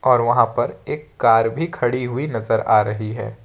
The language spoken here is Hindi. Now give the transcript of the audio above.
और वहां पर एक कार भी खड़ी हुई नजर आ रही है।